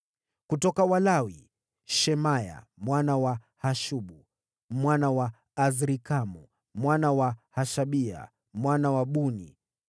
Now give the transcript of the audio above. Kutoka Walawi: Shemaya mwana wa Hashubu, mwana wa Azrikamu, mwana wa Hashabia, mwana wa Buni;